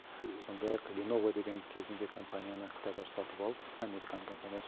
сондай ақ леново деген кезінде компанияны қытайлар сатып алып американың компаниясы